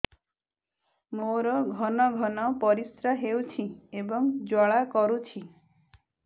ମୋର ଘନ ଘନ ପରିଶ୍ରା ହେଉଛି ଏବଂ ଜ୍ୱାଳା କରୁଛି